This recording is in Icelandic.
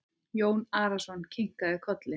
Jón Arason kinkaði kolli.